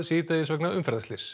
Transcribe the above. vegna umferðarslyss